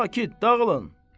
Sakit dağılın.